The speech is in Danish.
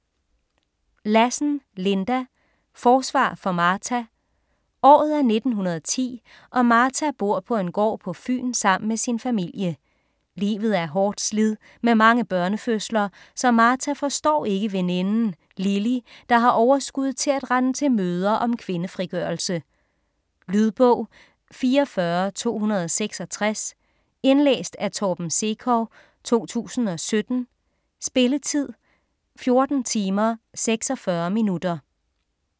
Lassen, Linda: Forsvar for Martha Året er 1910 og Martha bor på en gård på Fyn sammen med sin familie. Livet er hårdt slid med mange børnefødsler, så Martha forstår ikke veninden Lily, der har overskud til at rende til møder om kvindefrigørelse. Lydbog 44266 Indlæst af Torben Sekov, 2017. Spilletid: 14 timer, 46 minutter.